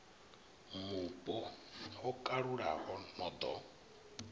mupo ho kalulaho no ḓo